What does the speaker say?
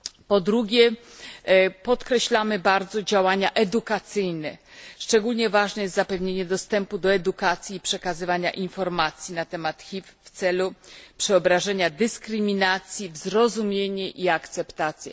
Po drugie, mocno podkreślamy działania edukacyjne. Szczególnie ważne jest zapewnienie dostępu do edukacji i przekazywania informacji na temat HIV w celu przeobrażenia dyskryminacji w zrozumienie i akceptację.